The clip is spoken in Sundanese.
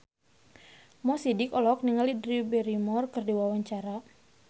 Mo Sidik olohok ningali Drew Barrymore keur diwawancara